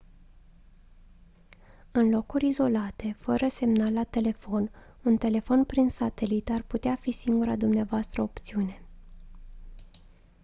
în locuri izolate fără semnal la telefon un telefon prin satelit ar putea fi singura dumneavoastră opțiune